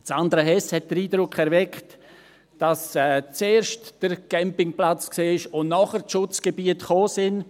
Sandra Hess hat den Eindruck erweckt, dass zuerst der Campingplatz da war und danach die Schutzgebiete kamen.